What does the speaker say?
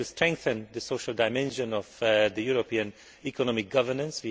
We have to strengthen the social dimension of European economic governance.